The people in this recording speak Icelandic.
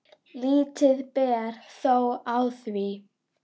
Lítið ber þó á því.